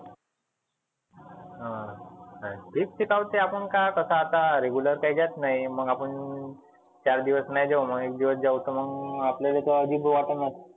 हं तेच तेच आपण काय कसा आता regular काई जात नई मग आपण चार दिवस नाही जाऊ मग एक दिवस जाऊ तर मग आपल्याले आजिब वाटनच.